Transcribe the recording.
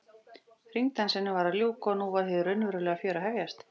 Hringdansinum var að ljúka og nú var hið raunverulega fjör að hefjast.